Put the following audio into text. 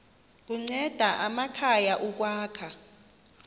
kunceda amakhaya ukwakha